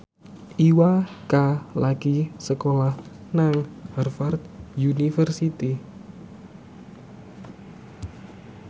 Iwa K lagi sekolah nang Harvard university